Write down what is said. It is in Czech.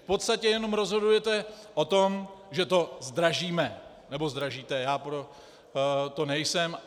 V podstatě jenom rozhodujete o tom, že to zdražíme - nebo zdražíte, já pro to nejsem.